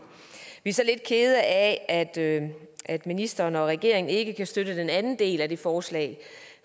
vi er så lidt kede af at ministeren og regeringen ikke kan støtte den anden del af det forslag